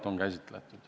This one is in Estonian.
– on käsitletud.